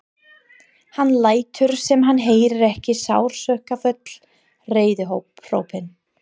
Hann lætur sem hann heyri ekki sársaukafull reiðihrópin.